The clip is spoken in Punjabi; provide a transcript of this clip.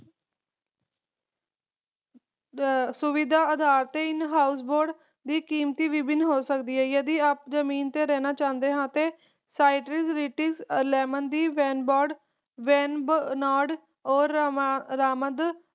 ਸੁਵਿਧਾ ਅਧਾਰ ਤੇ in house ਦੀ ਕੀਮਤ ਵੀ ਵਿਭਿਨ ਹੋ ਸਕਦੀ ਹੈ ਜੇ ਤੁਸੀਂ ਜਮੀਨ ਤੇ ਰਹਿਣਾ ਚਾਹੁੰਦੇ ਓ ਤਾਂ citriritis lemon venboard ਦੀ ਉਹ ਰਾਮਦ